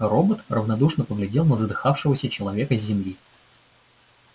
робот равнодушно поглядел на задыхавшегося человека с земли